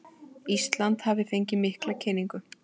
Ísland hafi fengið mikla kynningu